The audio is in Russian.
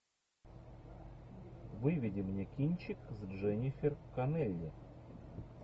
выведи мне кинчик с дженнифер коннелли